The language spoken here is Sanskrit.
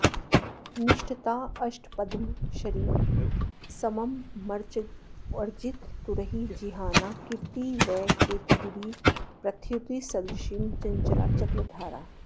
निष्टप्ताष्टापदश्रीः समममरचमूगर्जितैरुज्जिहाना कीर्ति वः केतकीभिः प्रथयतु सदृशीं चञ्चला चक्रधारा